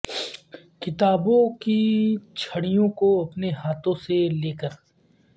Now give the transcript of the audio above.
کتابوں کی چھڑیوں کو اپنے ہاتھوں سے لے کر